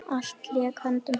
Allt lék í höndum hans.